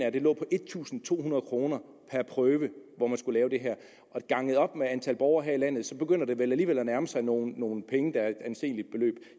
at det lå på en tusind to hundrede kroner per prøve at skulle lave det her og ganget op med antal borgere her i landet begynder det vel alligevel at nærme sig nogle nogle penge der udgør et anseligt beløb